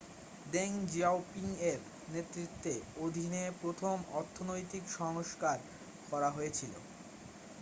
Deng জিয়াওপিংয়ের নেতৃত্বের অধীনে প্রথম অর্থনৈতিক সংস্কার করা হয়েছিল